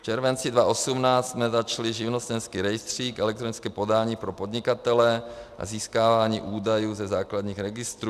V červenci 2018 jsme začali živnostenský rejstřík, elektronické podání pro podnikatele a získávání údajů ze základních registrů.